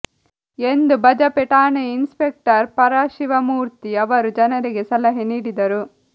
ಎಂದು ಬಜಪೆ ಠಾಣೆಯ ಇನ್ಸ್ಪೆಕ್ಟರ್ ಪರಶಿವಮೂರ್ತಿ ಅವರು ಜನರಿಗೆ ಸಲಹೆ ನೀಡಿದರು